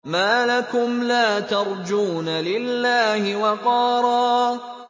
مَّا لَكُمْ لَا تَرْجُونَ لِلَّهِ وَقَارًا